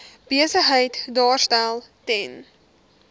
besigheid daarstel ten